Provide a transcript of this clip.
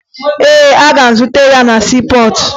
Ee, agara m zute ya na siipọọtụ